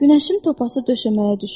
Günəşin topası döşəməyə düşür.